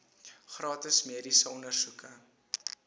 gratis mediese ondersoeke